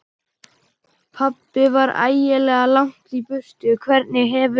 Pabbi var ægilega langt í burtu. Hvernig hefurðu.